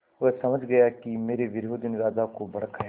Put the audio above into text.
वह समझ गया कि मेरे विरोधियों ने राजा को भड़काया है